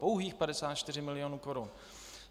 Pouhých 54 mil. korun.